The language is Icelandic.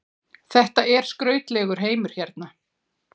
Þetta er skrautlegur heimur hérna.